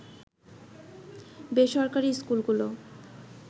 বেসরকারি স্কুলগুলো